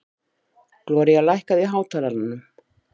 Gloría, lækkaðu í hátalaranum.